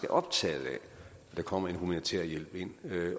optaget af at der kommer en humanitær hjælp ind